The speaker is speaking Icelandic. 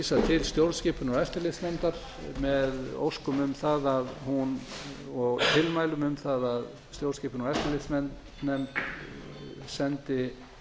til stjórnskipunar og eftirlitsnefndar með óskum um það og tilmælum um það að stjórnskipunar og eftirlitsnefnd sendi